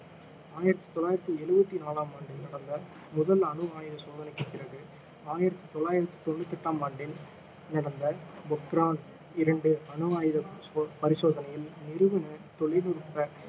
ஆயிரத்தி தொள்ளாயிரத்தி எழுபத்தி நாலாம் ஆண்டில் நடந்த முதல் அணு ஆயுத சோதனைக்கு பிறகு ஆயிரத்தி தொள்ளாயிரத்தி தொண்ணுற்று எட்டாம் ஆண்டில் நடந்த பொக்ரான் இரண்டு அணு ஆயுத சோ~ பரிசோதனையில் நிறுவன தொழில்நுட்ப